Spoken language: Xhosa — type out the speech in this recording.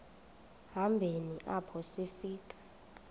hambeni apho sifika